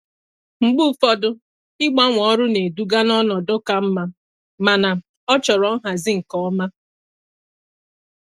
Mgbe ụfọdụ, ịgbanwe ọrụ na-eduga n'ọnọdụ ka mma, mana ọ chọrọ nhazi nke ọma.